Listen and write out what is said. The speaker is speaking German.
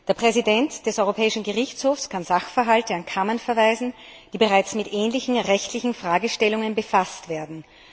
Der Präsident des Europäischen Gerichtshofs kann Sachverhalte an Kammern verweisen, die bereits mit ähnlichen rechtlichen Fragestellungen befasst wurden.